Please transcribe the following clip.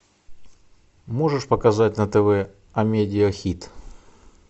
можешь показать на тв амедиа хит